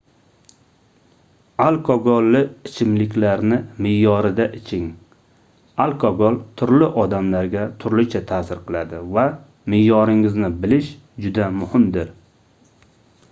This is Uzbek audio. alkogolli ichimliklarni meʼyorida iching alkogol turli odamlarga turlicha taʼsir qiladi va meʼyoringizni bilish juda muhimdir